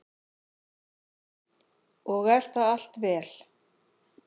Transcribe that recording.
Og er það allt vel.